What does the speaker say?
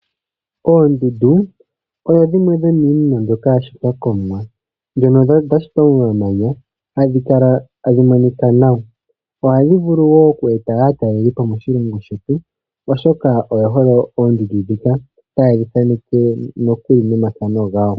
Oondudu odho dhimwe dho miina mbyoka ya shitwa komuwa, ndhono dha shitwa mo mamanya hadhi kala tadhi monika nawa. ohadhi vulu woo okweeta aatalelipo moshilongo shetu oshoka oye hole oondudu dhika. Taye dhi thaneke nokuli nomathano gawo.